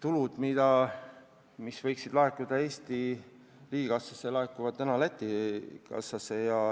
Tulud, mis võiksid laekuda Eesti riigikassasse, laekuvad Läti kassasse.